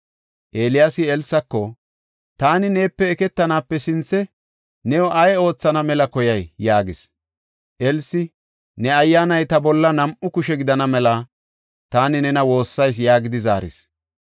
Eeliyaasi Elsako, “Taani neepe eketanaape sinthe, new ay oothana mela koyay?” yaagis. Elsi, “Ne ayyaanay ta bolla nam7u kushe gidana mela, taani nena woossayis” yaagidi zaaris.